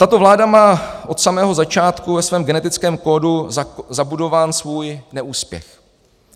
Tato vláda má od samého začátku ve svém genetickém kódu zabudován svůj neúspěch.